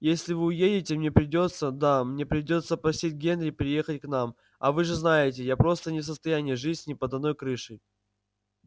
если вы уедете мне придётся да мне придётся просить генри приехать к нам а вы же знаете я просто не в состоянии жить с ним под одной крышей